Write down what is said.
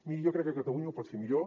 miri jo crec que catalunya ho pot fer millor